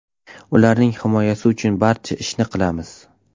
Ularning himoyasi uchun barcha ishni qilamiz.